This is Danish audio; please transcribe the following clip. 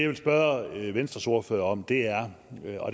vil spørge venstres ordfører om